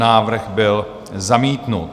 Návrh byl zamítnut.